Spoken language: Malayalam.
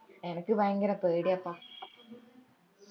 അനക്ക് ഭയങ്കര പേടിയാപ്പാ